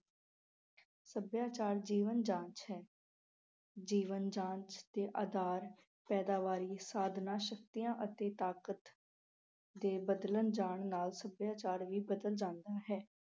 ਸੱਭਿਆਚਾਰ ਜੀਵਨ ਜਾਚ ਹੈ। ਜੀਵਨ ਜਾਚ ਦੇ ਆਧਾਰ, ਪੈਦਾਵਾਰੀ, ਸਾਧਨਾਂ, ਸ਼ਕਤੀਆਂ ਅਤੇ ਤਾਕਤ ਦੇ ਬਦਲਣ ਜਾਣ ਨਾਲ ਸੱਭਿਆਚਾਰ ਵੀ ਬਦਲ ਜਾਂਦਾ ਹੈ।